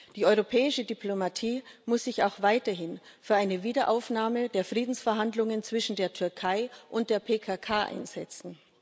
Die europäische Diplomatie muss sich auch weiterhin für eine Wiederaufnahme der Friedensverhandlungen zwischen der Türkei und der PKK einsetzen.